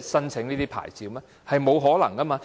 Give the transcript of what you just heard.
申請牌照，這是沒有可能的。